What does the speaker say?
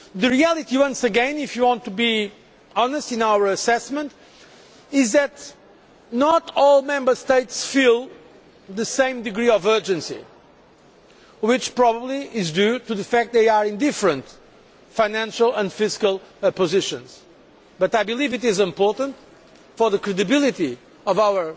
The reality once again, if you want to be honest in our assessment, is that not all Member States feel the same degree of urgency. This is probably due to the fact that they are in different financial and fiscal positions, but I believe that it is important for the credibility of our